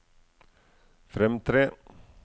fremtre